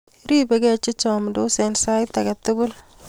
ribegei che chamdos eng' sait age tugul